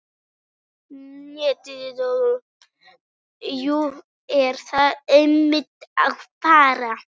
Jú, ég þarf einmitt að fara.